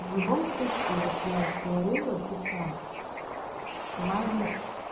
в любом случае вот я говорила писала важно